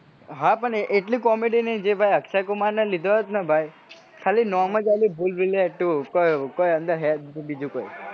હા પણ ભાઈ એટલી comedy અક્ષય કુમારને લીધો હોત ને ભાઈ ખાલી નોમ જ આલ્યું ભૂલ ભુલૈયા two કોઈ હે જ ના અંદર બીજું કોઈ